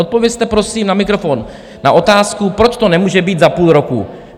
Odpovězte prosím na mikrofon na otázku, proč to nemůže být za půl roku.